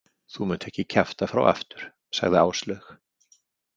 Þú munt ekki kjafta frá aftur, sagði Áslaug.